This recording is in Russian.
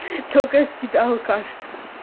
только с тебя алкашка